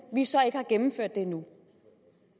vi så ikke har gennemført det endnu